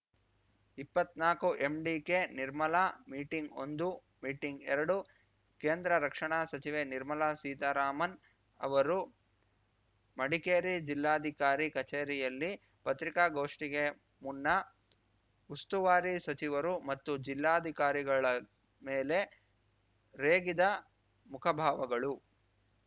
ಇಪ್ಪತ್ನಾಕುಎಂಡಿಕೆ ನಿರ್ಮಲಾ ಮೀಟಿಂಗ್‌ಒಂದು ಮೀಟಿಂಗ್‌ಎರಡು ಕೇಂದ್ರ ರಕ್ಷಣಾ ಸಚಿವೆ ನಿರ್ಮಲಾ ಸೀತಾರಾಮನ್‌ ಅವರು ಮಡಿಕೇರಿ ಜಿಲ್ಲಾಧಿಕಾರಿ ಕಚೇರಿಯಲ್ಲಿ ಪತ್ರಿಕಾಗೋಷ್ಠಿಗೆ ಮುನ್ನ ಉಸ್ತುವಾರಿ ಸಚಿವರು ಮತ್ತು ಜಿಲ್ಲಾಧಿಕಾರಿಗಳ ಮೇಲೆ ರೇಗಿದ ಮುಖಭಾವಗಳು